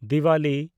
Diwali